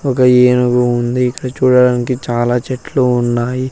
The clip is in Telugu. ఒక ఏనుగు ఉంది ఇక్కడ చూడడానికి చాలా చెట్లు ఉన్నాయి.